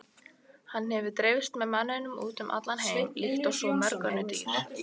Hann hefur dreifst með manninum út um allan heim líkt og svo mörg önnur dýr.